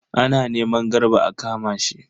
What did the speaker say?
Ana neman Garba a kama shi.